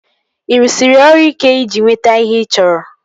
Ị rụsiri ọrụ ike iji nweta ihe ị chọrọ?